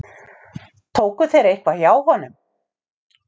Tóku þeir eitthvað hjá honum?